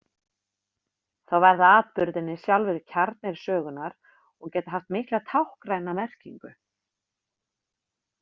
Þá verða atburðirnir sjálfir kjarnir sögunnar og geta haft mikla táknræna merkingu.